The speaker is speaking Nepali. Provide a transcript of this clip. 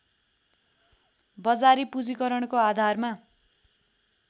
बजारी पूँजीकरणको आधारमा